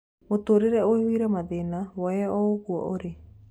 Mũtũrĩre ũihũire mathĩna; woye o ũguo ũrĩ.